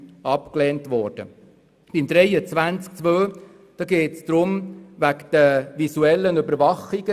Bei Artikel 23 Absatz 2 geht es um die visuelle Überwachung.